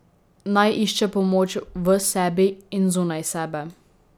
Naj išče pomoč v sebi in zunaj sebe.